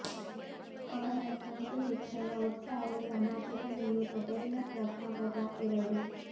ಅವರ ಸಂಖ್ಯೆ ಹೆಚ್ಚಳ ಒಟ್ಟಾರೆ ಸಮಾಜದ ಮೇಲೆ ಪದರಿನ ಪ್ರಭಾವದ ಎರಡು